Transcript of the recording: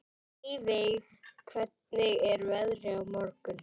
Eyveig, hvernig er veðrið á morgun?